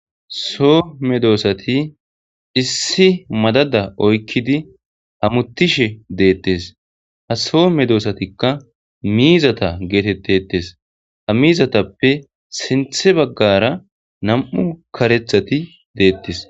Soo medosati issi madada oyikkidi hamutishshe detees.haa medosatikka mizatta getetetees.haa mizatappe sintha bagara 2karethati de'osona